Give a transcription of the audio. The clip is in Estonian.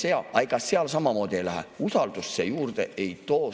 Aga ega seal samamoodi ei lähe, usaldust see juurde ei too.